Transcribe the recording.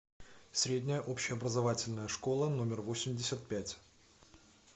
средняя общеобразовательная школа номер восемьдесят пять